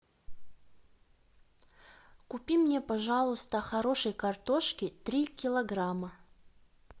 купи мне пожалуйста хорошей картошки три килограмма